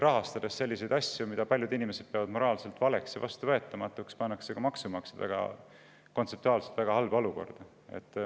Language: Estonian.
Rahastades selliseid asju, mida paljud inimesed peavad moraalselt valeks ja vastuvõetamatuks, pannakse maksumaksjad tegelikult kontseptuaalselt väga halba olukorda.